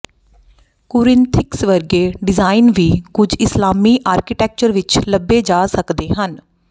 ਕੁਰਿੰਥਿਕਸ ਵਰਗੇ ਡਿਜ਼ਾਈਨ ਵੀ ਕੁਝ ਇਸਲਾਮੀ ਆਰਕੀਟੈਕਚਰ ਵਿੱਚ ਲੱਭੇ ਜਾ ਸਕਦੇ ਹਨ